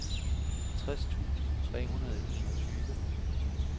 tres tusind tre hundrede og enogtyve